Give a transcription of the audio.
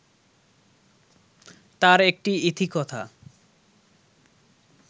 তার একটি ইতিকথা